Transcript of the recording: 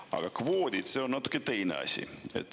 Aga kvoodid – see on natuke teine asi.